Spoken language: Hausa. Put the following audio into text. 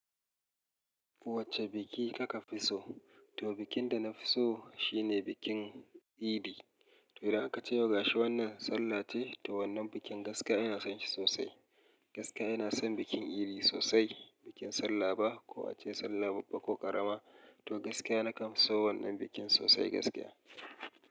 Wacce biki kaka fi so? To bikin da na fi so shine bikin idi. To da ka ce yau gashi wannan sallah ce, to wannan bikin gaskiya ina son shi sosai. Gaskiya ina son bikin idi sosai, bikin sallah ba ko a ce sallah babba ko karama. To gaskiya na kam so wannan bikin sosai gaskiya.